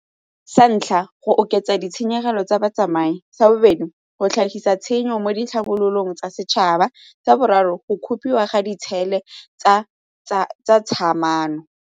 Sa ntlha, go oketsa ditshenyegelo tsa batsamai. Sa bobedi, go tlhagisa tshenyo mo ditlhabololo tsa setšhaba. Sa boraro, go gopiwa ga ditshele tsa .